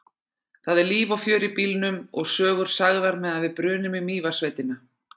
Það er líf og fjör í bílnum og sögur sagðar meðan við brunum í Mývatnssveitina.